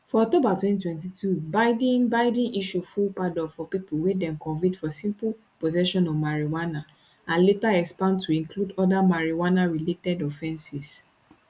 for october 2022 biden biden issue full pardon for pipo wey dem convict for simple possession of marijuana and later expand to include oda marijuanarelated offenses